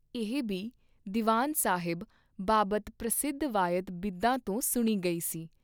ਇਹ ਬੀ ਦੀਵਾਨ ਸਾਹਿਬ ਬਾਬਤ ਪ੍ਰਸਿੱਧ ਵਾਯਤ ਬਿਧਾਂ ਤੋਂ ਸੁਣੀ ਗਈ ਸੀ।